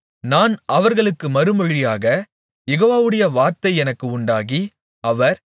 நான் அவர்களுக்கு மறுமொழியாக யெகோவாவுடைய வார்த்தை எனக்கு உண்டாகி அவர்